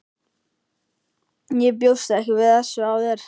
Ég bjóst ekki við þessu af þér.